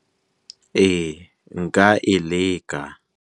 Ee nka e leka.